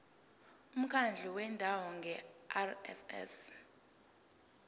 umkhandlu wendawo ngerss